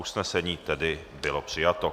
Usnesení tedy bylo přijato.